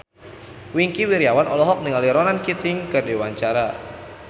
Wingky Wiryawan olohok ningali Ronan Keating keur diwawancara